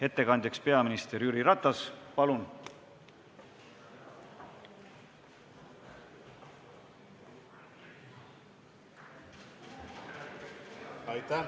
Ettekandjaks peaminister Jüri Ratas, palun!